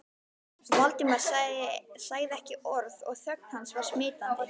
Valdimar sagði ekki orð og þögn hans var smitandi.